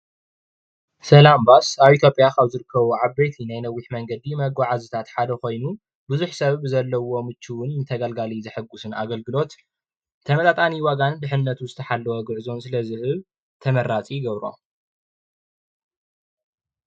ሰላም ባስ ኣብ ኢ/ያ ካብ ዝርከቡ ዓበይቲ ናይ ነዊሕ መንገዲ መጓዓዓዚታት ሓደ ኮይኑ፣ ብዙሕ ሰብ ብዘለዎ ብችውን ንተገልጋሊ ዘሕጉስን ኣገልግሎት ብተመጣጣኒ ዋጋን ድሕንነት ዝተሓለወ ጉዕዞን ስለ ዝህብ ተመራፂ ይገብሮ፡፡